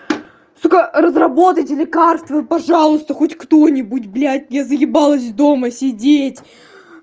сука разработайте лекарство пожалуйста хоть кто-нибудь блять я заебалась дома сидеть